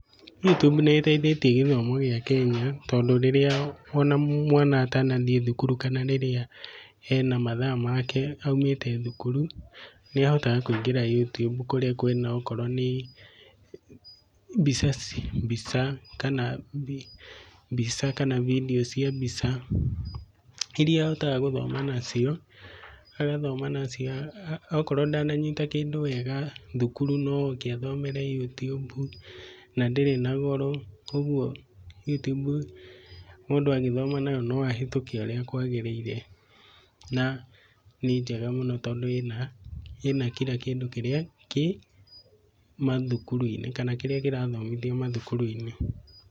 YouTube niiteithetie gĩthomo gĩa Kenya, tondũ rĩrĩa ona mwana atanathiĩ thukuru kana rĩrĩa ena mathaa make aumete thukuru, nĩahotaga kũingĩra YouTube kũrĩa kwĩna okorwo nĩ mbica kana video cia mbica iria ahotaga gũthoma nacio, agathoma nacio akorwo ndananyita kĩndũ wega thukuru no oke athomere YouTube. Na ndĩrĩ na goro koguo YouTube mũndũ agĩthoma nayo, no ahĩtũkĩ ũrĩa kwagĩrĩirĩ na nĩ njega mũno tondũ ĩna, ĩna kira kĩndũ kĩrĩa kĩ mathukuru-inĩ kana kĩrĩa kĩrathomithio mathukuru-inĩ.